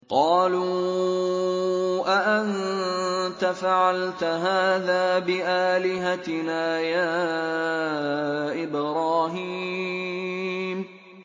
قَالُوا أَأَنتَ فَعَلْتَ هَٰذَا بِآلِهَتِنَا يَا إِبْرَاهِيمُ